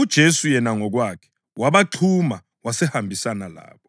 uJesu yena ngokwakhe wabaxhuma wasehambisana labo;